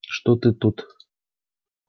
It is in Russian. что ты тут